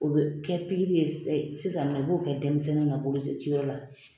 O bɛ kɛ pikiri ye sisan u b'o kɛ denmisɛnnin na boloci wɛrɛ la